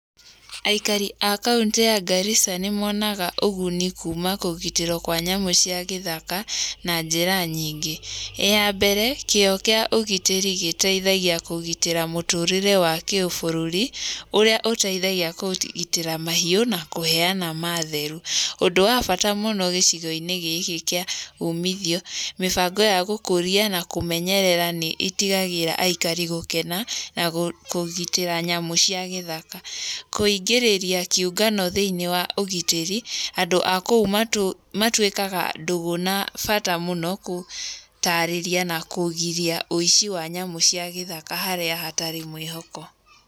Aikari a kauntĩ ya Garissa, nĩ monaga ũguni kuuma kũgitĩrwo kwa nyamũ cia gĩthaka na njĩra nyingĩ. Ya mbere kĩo kĩa ũgitĩri gĩteithagia kũgitĩra mũtũrĩre wa kĩ ũbũrũri ũrĩa ũteithagia kũgitĩra mahiũ na kũheana maatheru. Ũndũ wa bata mũno gĩcigo-inĩ gĩkĩ kĩa umithio mĩbango ya gũkũria na kũmenyerera nĩ itigagĩra aikari gũkena na kũgitĩra nyamũ cia gĩthaka. Kũingĩrĩria kĩũngano thĩinĩ wa ũgitĩri andũ akũu matuĩkaga ndũgũ na bata mũno gũũtarĩria na kũgiria ũici wa nyamũ cia gĩthaka harĩa hatarĩ mwĩhoko.